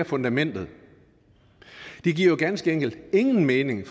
fundamentet det giver jo ganske enkelt ingen mening